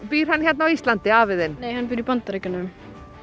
býr hann hérna á Íslandi afi þinn hann býr í Bandaríkjunum